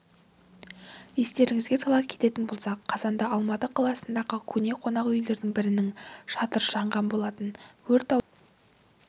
естеріңізге сала кететін болсақ қазанда алматы қаласындағы көне қонақ үйлердің бірінің шатыры жанған болатын өрт ауданы